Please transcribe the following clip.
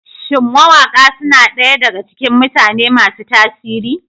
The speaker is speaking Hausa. Shin mawaƙa suna ɗaya daga cikin mutane masu tasiri?